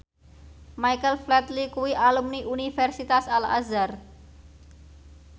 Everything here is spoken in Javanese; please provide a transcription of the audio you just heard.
Michael Flatley kuwi alumni Universitas Al Azhar